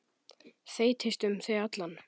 Þeytist um þig allan.